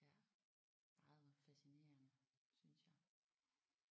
Ja meget fascinerende synes jeg